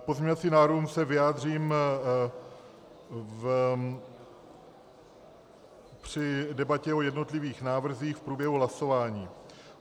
K pozměňovacím návrhům se vyjádřím při debatě o jednotlivých návrzích v průběhu hlasování.